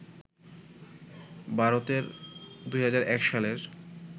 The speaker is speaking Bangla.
ভারতের ২০০১ সালের